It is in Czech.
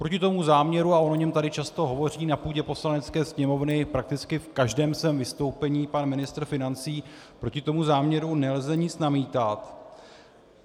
Proti tomu záměru, a o něm tady často hovoří na půdě Poslanecké sněmovny, prakticky v každém svém vystoupení, pan ministr financí, proti tomu záměru nelze nic namítat.